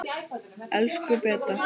Elsku Beta.